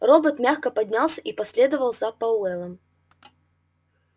робот мягко поднялся и последовал за пауэллом